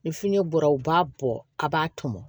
Ni fini bɔra u b'a bɔ a b'a tɔmɔ